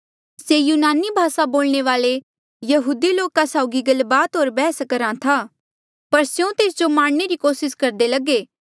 से यूनानी भासा बोलणे वाल्ऐ यहूदी लोका साउगी गलबात होर बैहस करहा था पर स्यों तेस जो मारणे री कोसिस करदे लगे